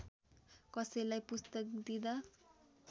कसैलाई पुस्तक दिँदा